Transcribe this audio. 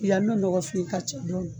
Yan nɔ mɔgɔ sugu